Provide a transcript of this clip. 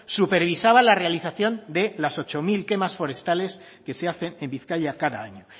supervisada la realización de las ocho mil quemas forestales que se hacen en bizkaia cada año